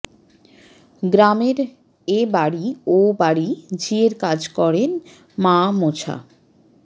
গ্রামের এ বাড়ি ও বাড়ি ঝিয়ের কাজ করেন মা মোছা